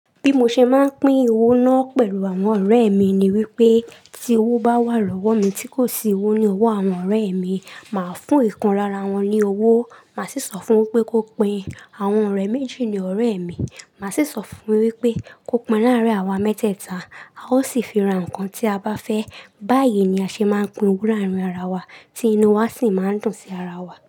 Bi mo ṣe máa ń pín owó ná pẹ̀lu àwọn ọ̀rẹ́ ẹ̀ mi ni wípé, tí owó bá wà lọ́wọ̀ mi tí kò sí owó ní ọwọ́ àwọn ọ̀rẹ́ ẹ̀ mi màá fún ìkan lára wọn ní owó máa sì sọ fún un wípé kó pín in àwọn ọ̀rẹ́ méjì ni ọ̀rẹ́ ẹ̀ mi, màá sì sọ fún un wípé kó pín in láàárín àwa mẹ́tẹ̀ẹ̀ta a ó sì fi ra ǹkan bí a bá fẹ́. Báyìí ni a ṣe máa ń pín owó láàárín ara wa tí inu wa sì máa ń dùn sí ara wa.